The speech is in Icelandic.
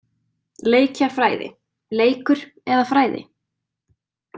Leikjafræði- leikur eða fræði?